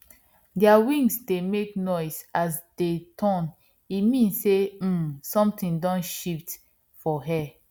their wings dey make noise as dey turn e mean sey um something don shift for air